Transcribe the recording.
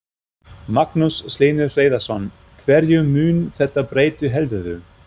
Magnús Hlynur Hreiðarsson: Hverju mun þetta breyta heldurðu?